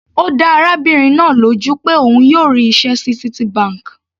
Ó dá arábìnrin náà lójú pé òun yóò rí iṣẹ́ ní Citibank.